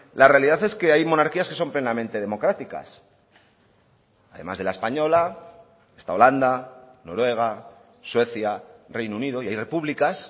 la realidad es que hay monarquías que son plenamente democráticas además de la española está holanda noruega suecia reino unido y hay repúblicas